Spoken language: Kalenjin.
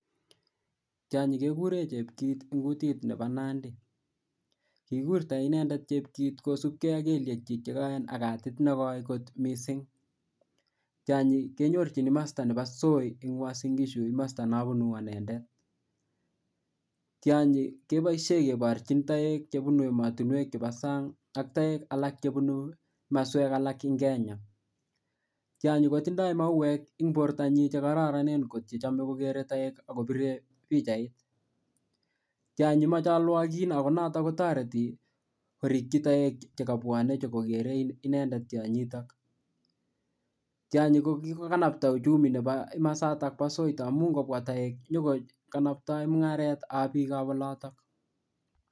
Tianyi kekuren chepkit en kutit Nebo nandikikurta inendet chepkit kosibgei ak kelyek chik chekoen ak katit negoi kot mising tianyi kenyorchin masta Nebo soiben uasungishu en kamasta neabunu anendet tianyi kebaishen kebarchin Taek chebunu ematunwek chebo sang ak Taek alak chebunu kamaswek alak en Kenya tianyi koitindoi mawek en borta chekororon mising ako chome kogere Taek akobire bichait tianyi komachwalgik ako tareti koriki Taek chekabwanen nyonkokere inendet tianyi ,tianyi ko kikokanabta uchumi Nebo kamasaton ba Soi amunun ingobwa Taek ko nyo kokanaptae mungaret ab bik